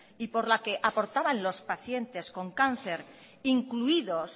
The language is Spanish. y por la que aportaban los pacientes con cáncer incluidos